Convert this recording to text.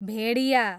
भेडिया